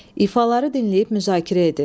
İfaları dinləyib müzakirə edin.